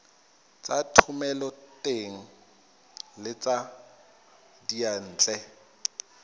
tsa thomeloteng le tsa diyantle